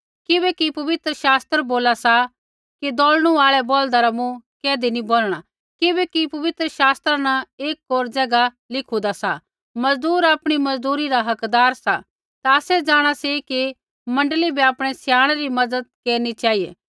किबैकि पवित्र शास्त्र बोला सा कि दौल़णू आल़ै बौल्दा रा मुँह कैधी नी बोनणा किबैकि पवित्र शास्त्रा न एक होर ज़ैगा लिखूदा सा मज़दूर आपणी मज़दूरी रा हकदार सा ता आसै जाँणा सी कि मण्डली बै आपणै स्याणै री मज़त केरनी चेहिऐ